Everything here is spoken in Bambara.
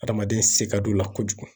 Adamaden se ka d'o la kojugu.